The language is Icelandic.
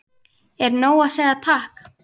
Er nóg að segja takk?